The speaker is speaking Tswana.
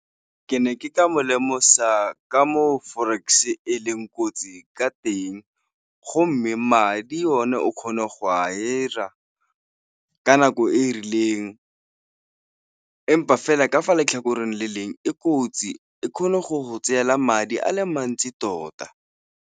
Ke ne ke ka mo lemosa ka moo forex-e leng kotsi ka teng, go mme madi o ne o kgone go a 'ira ka nako e rileng empa fela ka fa letlhakoreng le leng, e kotsi, e kgone go tseela madi a le mantsi tota.